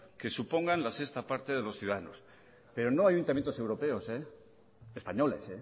que supongan la sexta parte de los ciudadanos pero no en ayuntamientos europeos españoles